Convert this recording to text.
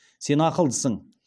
сен ақылдысың